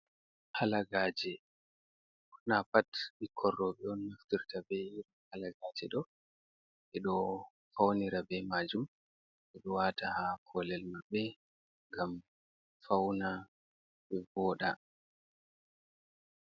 Halagaaje, ɓurna pat ɓikkon rewɓe on naftirta bee iri Halagaaje ɗo, ɓe ɗo fawnira bee maajum, ɓe ɗo waata haa koolel maɓɓe, ngam fawna ɓe vooɗa.